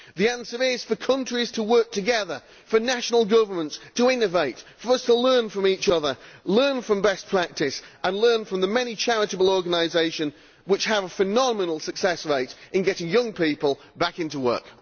The answer is for countries to work together, for national governments to innovate, for us to learn from each other, to learn from best practice and to learn from the many charitable organisations which have a phenomenal success rate in getting young people back into work.